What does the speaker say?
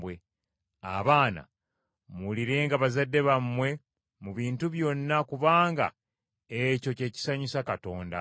Abaana, muwulirenga bazadde bammwe mu bintu byonna kubanga ekyo ky’ekisanyusa Katonda.